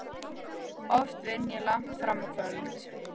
Oft vinn ég langt fram á kvöld.